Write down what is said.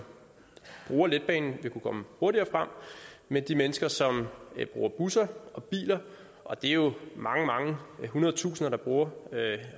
bruger letbanen vil kunne komme hurtigere frem mens de mennesker som bruger busser og biler og det er jo mange mange hundrede tusinder der bruger